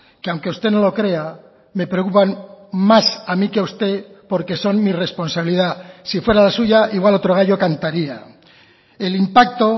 que aunque usted no lo crea me preocupan más a mí que a usted porque son mi responsabilidad si fuera la suya igual otro gallo cantaría el impacto